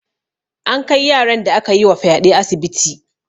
An kai yaran da akayi wa fyaɗe asibiti.